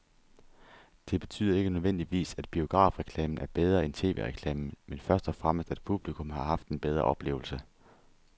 Det betyder ikke nødvendigvis, at biografreklamen er bedre end tv-reklamen, men først og fremmest at publikum har haft en bedre oplevelse.